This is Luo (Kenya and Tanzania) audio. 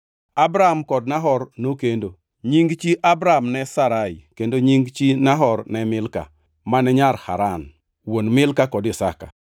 Abram kod Nahor nokendo. Nying chi Abram ne Sarai kendo nying chi Nahor ne Milka; mane nyar Haran; wuon Milka kod Iska.